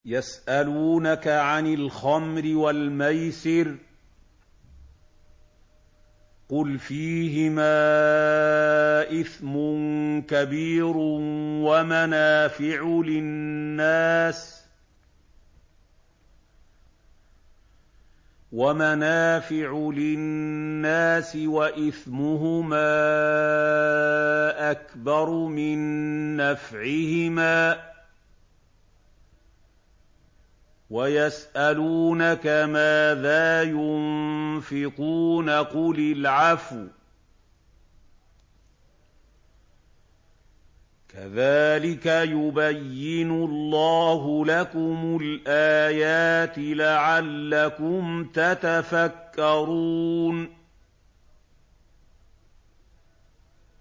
۞ يَسْأَلُونَكَ عَنِ الْخَمْرِ وَالْمَيْسِرِ ۖ قُلْ فِيهِمَا إِثْمٌ كَبِيرٌ وَمَنَافِعُ لِلنَّاسِ وَإِثْمُهُمَا أَكْبَرُ مِن نَّفْعِهِمَا ۗ وَيَسْأَلُونَكَ مَاذَا يُنفِقُونَ قُلِ الْعَفْوَ ۗ كَذَٰلِكَ يُبَيِّنُ اللَّهُ لَكُمُ الْآيَاتِ لَعَلَّكُمْ تَتَفَكَّرُونَ